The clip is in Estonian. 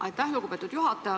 Aitäh, lugupeetud juhataja!